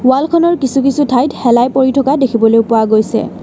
ৱালখনৰ কিছু কিছু ঠাইত শেলাই পৰি থকা দেখিবলৈ পোৱা গৈছে।